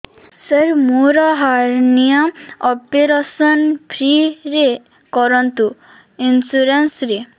ସାର ମୋର hernia operation free ରେ କରନ୍ତୁ ଇନ୍ସୁରେନ୍ସ ରେ